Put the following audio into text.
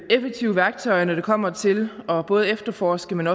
effektive værktøjer når det kommer til både at efterforske men